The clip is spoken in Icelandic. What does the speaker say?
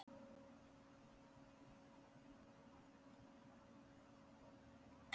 Þorbjörn: Hver sendi beiðnina?